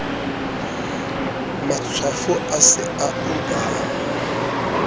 matshwafo a se a uba